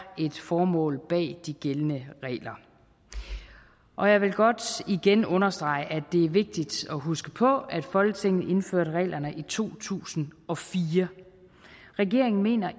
et formål bag de gældende regler og jeg vil godt igen understrege at det er vigtigt at huske på at folketinget indførte reglerne i to tusind og fire regeringen mener